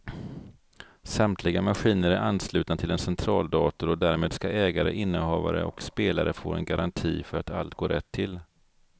Samtliga maskiner är anslutna till en centraldator och därmed ska ägare, innehavare och spelare få en garanti för att allt går rätt till.